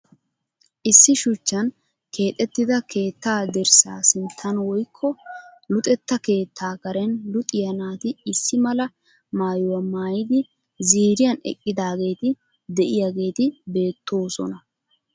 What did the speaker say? Issi shuchchan keexettida keettaa dirssa sinttan woyikko luxetta keettaa Karen luxiya naati issi mala maayuwa mayidi ziiriyan eqqidaageeti de'iyageeti beettoosona.